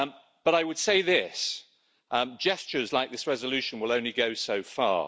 But I would say this gestures like this resolution will only go so far.